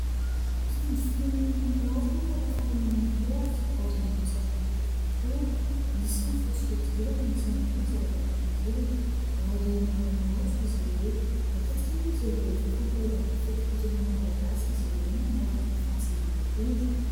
Mpitandro filaminana maro no manao fanamiana mitovy, ary manao satroka mitovy ihany koa. Misy ny fotsy fihodirana, misy ihany koa ny zarazara fihodirana, ary manao matso izy ireo. Matetika moa dia rehefa fankalazana ny fetim-pirenena malagasy izy ireo no manao itony fampisehoana itony.